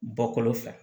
Bɔkolo fɛ